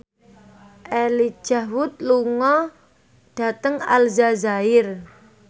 Elijah Wood lunga dhateng Aljazair